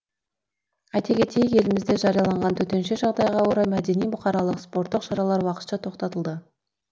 айте кетейік елімізде жарияланған төтенше жағдайға орай мәдени бұқаралық спорттық шаралар уақытша тоқтатылды